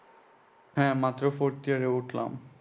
হ্যাঁ মাত্র fourth year এ উঠলাম।